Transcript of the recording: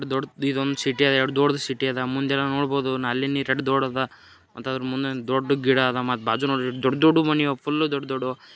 ದೊಡ್ಡ್ ಇದೊಂದ್ ಸಿಟಿ ಅದ ಎಷ್ಟ್ ದೊಡ್ ಸಿಟಿ ಅದ ಮುಂದೆ ಎಲ್ಲ ನೋಡಬಹುದು ನಾಲಿ ನೇ ಎಷ್ಟ್ ದೊಡ್ಡದ ಅಂತರದ್ ಮುಂದೆ ದೊಡ್ ಗಿಡ ಅದ ಮತ್ತ್ ಬಾಜು ನೋಡ್ರಿ ದೊಡ್ಡ್ ದೊಡ್ಡ್ ಮನಿ ಅದ ಫುಲ್ ದೊಡ್ಡ್ ದೊಡ್ದುವು.